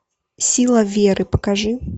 сила веры покажи